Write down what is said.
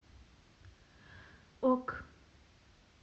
ок